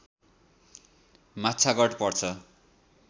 माछागढ पर्छ